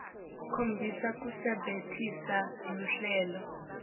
khombisa kusebentisa luhlelo